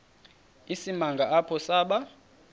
isimanga apho saba